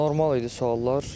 Normal idi suallar.